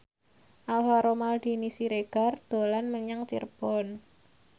Alvaro Maldini Siregar dolan menyang Cirebon